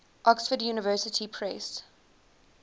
oxford university press